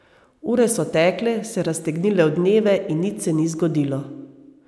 Ure so tekle, se raztegnile v dneve in nič se ni zgodilo.